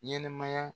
Ɲɛnɛmaya